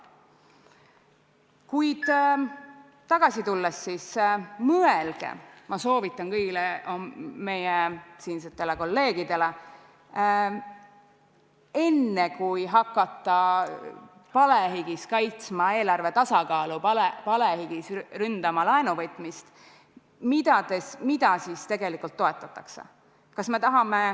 Kuid teema juurde tagasi tulles, siis mõelge – ma soovitan seda kõigile meie kolleegidele – enne, kui hakata palehigis kaitsma eelarve tasakaalu, ründama laenuvõtmist, et mida siis tegelikult toetatakse.